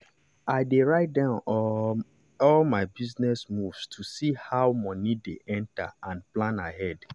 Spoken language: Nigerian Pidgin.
i dey write down all my um business moves to see how money dey enter and plan ahead.